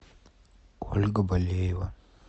ольга болеева